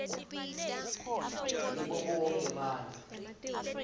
ngibo bonkhe bantfu